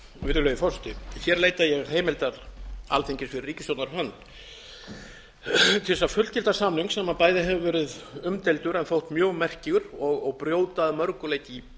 virðulegi forseti hér leita ég heimildar alþingis fyrir ríkisstjórnar hönd til þess að fullgilda samning sem bæði hefur verið umdeildur en þótt mjög merkur og brjóta að mörgu leyti í